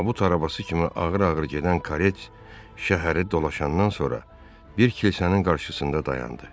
Tabut arabası kimi ağır-ağır gedən karet şəhəri dolanandan sonra bir kilsənin qarşısında dayandı.